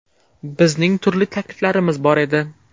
Bizning turli takliflarimiz bor edi.